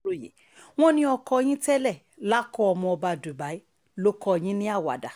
aláròye wọ́n ní oko yín tẹ́lẹ̀ làkó ọmọọba dubai ló kọ yín ní àwàdà